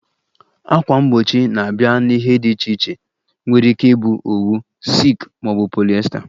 Ákwà mgbochi na-abịa na ihe dị iche iche nwere ike ịbụ owu, silk ma ọ bụ polyester